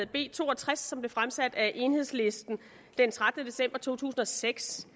b to og tres som blev fremsat af enhedslisten den trettende december to tusind og seks